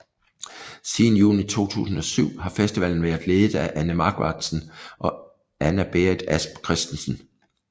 Siden juni 2007 har festivalen været ledet af Anne Marqvardsen og Anna Berit Asp Christensen